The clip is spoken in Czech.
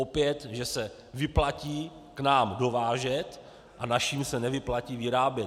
Opět, že se vyplatí k nám dovážet a našim se nevyplatí vyrábět.